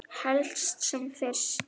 Helst sem fyrst.